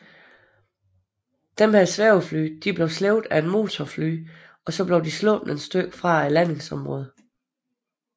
Disse svævefly blev slæbt af motorfly og sluppet et stykke væk fra landingsområdet